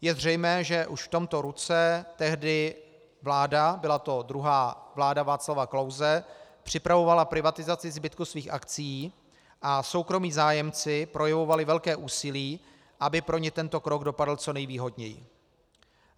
Je zřejmé, že už v tomto roce tehdy vláda, byla to druhá vláda Václava Klause, připravovala privatizaci zbytku svých akcií a soukromí zájemci projevovali velké úsilí, aby pro ně tento krok dopadl co nejvýhodněji.